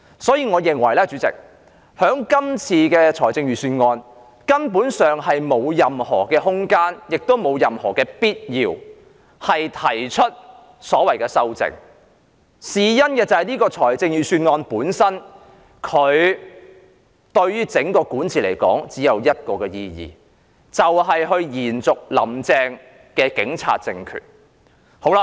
所以，主席，我認為這份預算案根本沒有任何空間，亦沒有任何必要提出修正案，原因是這份預算案對於整個管治來說只有一個意義，就是延續"林鄭"的警察政權。